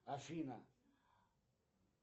афина